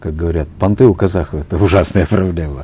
как говорят понты у казахов это ужасная проблема